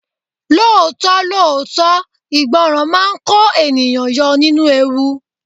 Lóòótọ́ lóòótọ́, ìgbọràn máa ń kó ènìyàn yọ nínú ewu.